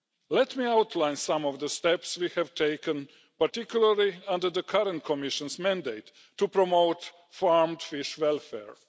Let me outline some of the steps we have taken, particularly under the current Commission's mandate to promote farmed fish welfare.